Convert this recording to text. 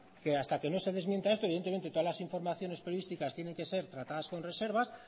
que hasta que no se desmienta esto evidentemente todas las informaciones periodísticas tienen que ser tratadas con reservas